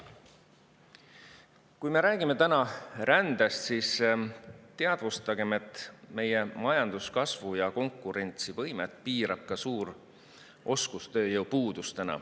Kui me räägime täna rändest, siis teadvustagem, et meie majanduskasvu ja konkurentsivõimet piirab ka suur oskustööjõu puudus.